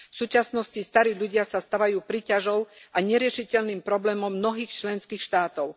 V súčasnosti starí ľudia sa stávajú príťažou a neriešiteľným problémom v mnohých členských štátoch.